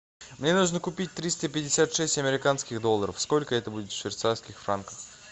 мне нужно купить триста пятьдесят шесть американских долларов сколько это будет в швейцарских франках